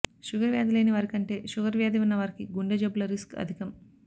sugar వ్యాధి లేని వారికంటే షుగర్ వ్యాధి వున్న వారికి గుండె జబ్బుల రిస్క్ అధికం